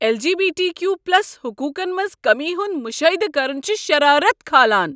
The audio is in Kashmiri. L. G. B. T. Q plus حقوقن منٛز کمی ہُند مشاہدٕ کرن چھ شرارت کھالان۔